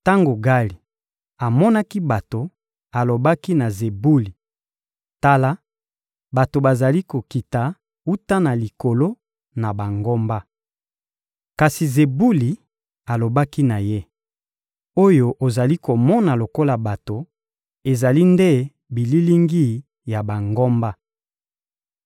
Tango Gali amonaki bato, alobaki na Zebuli: — Tala, bato bazali kokita wuta na likolo na bangomba. Kasi Zebuli alobaki na ye: — Oyo ozali komona lokola bato, ezali nde bililingi ya bangomba.